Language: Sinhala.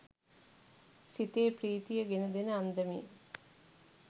සිතේ ප්‍රීතිය ගෙන දෙන අන්දමේ